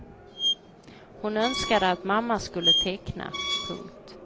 Hon önskade att mamma skulle teckna. punkt